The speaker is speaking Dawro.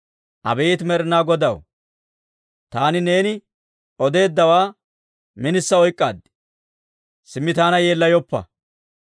Abeet Med'inaa Godaw, taani neeni odeeddawaa minisa oyk'k'aad; simmi taana yeellayoppa!